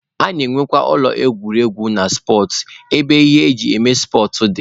A na-enwekwa ụlọ egwuregwu na spọtsụ ebe ihe eji eme spọtsụ dị.